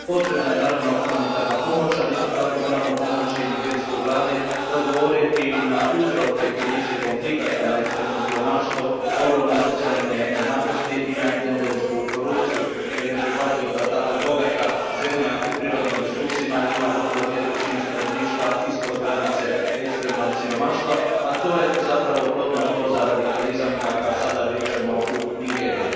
Potrebna je naravno humanitarna pomoć, ali isto tako moramo pomoći nigerijskoj vladi da odgovori i na uzroke krize i konflikata na ekstremno siromaštvo, ogromne socijalne nejednakosti i na endemsku korupciju, jer je neprihvatljivo da zemlja tako bogata prirodnim resursima ima gotovo dvije trećine stanovništva ispod granice ekstremnog siromaštva, a to je zapravo plodno tlo za radikalizam kakav sada viđamo u Nigeriji.